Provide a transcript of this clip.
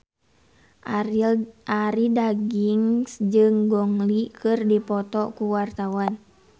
Arie Daginks jeung Gong Li keur dipoto ku wartawan